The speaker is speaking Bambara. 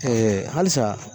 halisa